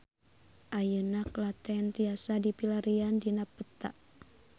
Ayeuna Klaten tiasa dipilarian dina peta